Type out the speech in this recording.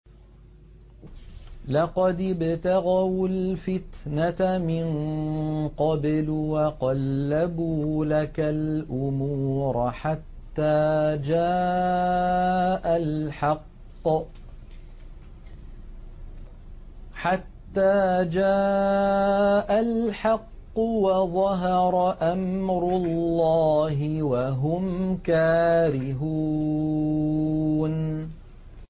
لَقَدِ ابْتَغَوُا الْفِتْنَةَ مِن قَبْلُ وَقَلَّبُوا لَكَ الْأُمُورَ حَتَّىٰ جَاءَ الْحَقُّ وَظَهَرَ أَمْرُ اللَّهِ وَهُمْ كَارِهُونَ